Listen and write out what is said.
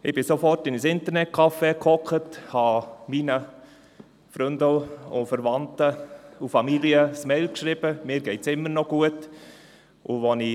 Ich ging sofort in ein Internetcafé und schrieb meinen Freunden, Verwandten und meiner Familie eine Mail, dass es mir immer noch gut gehe.